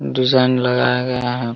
Design लगाया गया है।